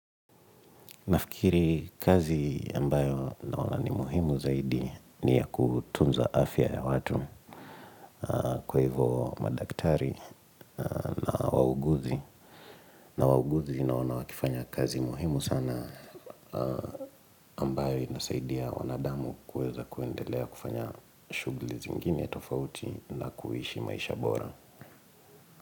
Nafikiri kazi ambayo naona ni muhimu zaidi ni ya kutunza afya ya watu kwa hivyo madaktari na wauguzi. Na wauguzi naona wakifanya kazi muhimu sana ambayo inasaidia wanadamu kuweza kuendelea kufanya shughuli zingine tofauti na kuishi maisha bora.